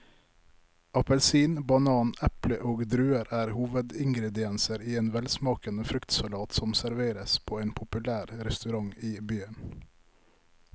Appelsin, banan, eple og druer er hovedingredienser i en velsmakende fruktsalat som serveres på en populær restaurant i byen.